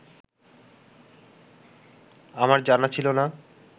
আমার জানা ছিল না